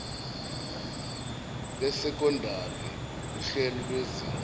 lesekondari nguhlelo lwezinga